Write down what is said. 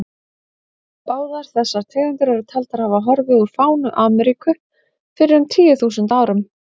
Báðar þessar tegundir eru taldar hafa horfið úr fánu Ameríku fyrir um tíu þúsund árum.